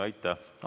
Aitäh!